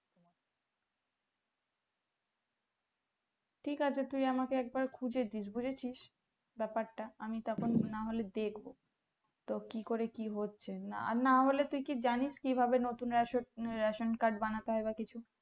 ঠিক আছে তুই আমাকে একবার খুঁজে দিস বুঝেছিস ব্যাপার টা আমি তারপর না হলে দেখবো তো কি করে কি হচ্ছে আর না হলে তুই কি জানিস কি ভাবে নতুন রেশ ration card বানাতে হয় বা কিছু